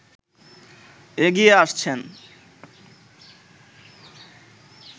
এগিয়ে আসছেন